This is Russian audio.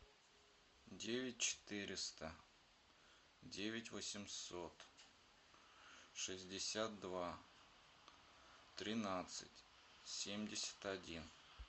девять четыреста девять восемьсот шестьдесят два тринадцать семьдесят один